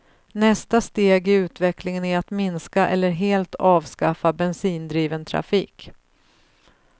Nästa steg i utvecklingen är att minska eller helt avskaffa bensindriven trafik.